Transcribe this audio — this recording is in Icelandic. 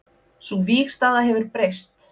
Sú vígstaða hefur breyst